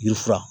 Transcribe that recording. Yiri fura